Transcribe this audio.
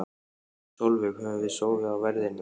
Sólveig: Höfum við sofið á verðinum?